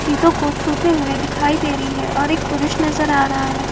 चीजों को छूते हुए दिखाई दे रही है ओर एक पुरुष नजर आ रहा है।